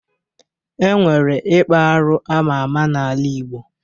E nwere ikpa arụ ama ama n'ala igbo